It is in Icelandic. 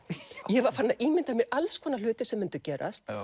ég var farin að ímynda mér allskonar hluti sem myndu gerast